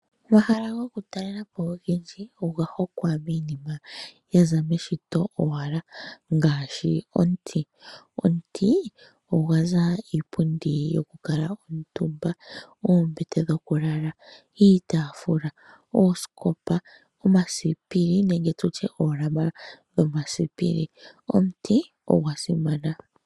Omahala gokutalelwapo ogendji oga hongwa miinima yaza meshito owala ngaashi omuti. Omuti ohagu zi iipundi yoku kuutumba , oombete dhokulala, iitaafula, oosikopa , omasipili nenge oolama dhomasipili. omuti ogwa simana.